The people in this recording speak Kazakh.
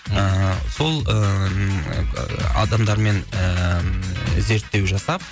ыыы сол ыыы адамдармен ыыы зерттеу жасап